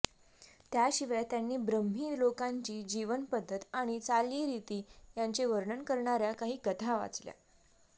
त्याशिवाय त्यांनी ब्रह्मी लोकांची जीवनपद्धत आणि चालीरीती यांचे वर्णन करणाऱ्या काही कथा वाचल्या